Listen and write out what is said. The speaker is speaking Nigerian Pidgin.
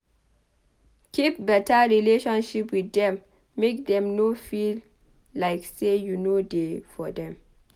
Keep better relationship with dem make dem no feel like sey you no dey for dem